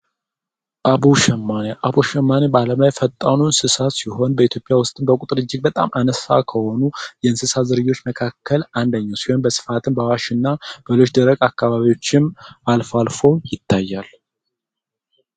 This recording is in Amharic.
አቦ ሸማኔ: አቦ ሸማኔ በምድር ላይ ብቸኛዉ ፈጣን እንስሳ ሲሆን በኢትዮጵያ ወስጥም በቁጥር እጅግ አነስተኛ ከሆኑ የእንስሳት ዝርያወች መካከል አንደኘዉ ሲሆን በአዋሽ እና በሌሎች ደረቅ ቦታወችም አልፎ አልፎም ይገኛል።